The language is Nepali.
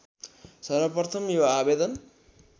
सर्वप्रथम यो आवेदन